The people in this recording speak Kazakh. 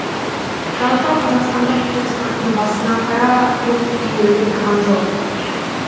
жалпы қазақстандық экспорттың басына қара бұлт үйіріліп тұрған жоқ